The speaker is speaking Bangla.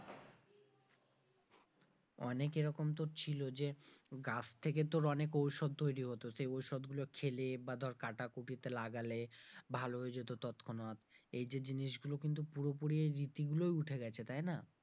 অনেক এরকম তোর ছিল যে গাছ থেকে তোর অনেক ঔষধ তৈরি হতো, সে ঔষধ গুলো খেলে বা ধর কাটাকুটিতে লাগালে ভালো হয়ে যেত তৎক্ষণাৎ এই যে জিনিসগুলো কিন্তু পুরোপুরি রীতি গুলো উঠে গেছে, তাই না?